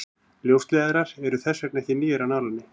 ljósleiðarar eru þess vegna ekki nýir af nálinni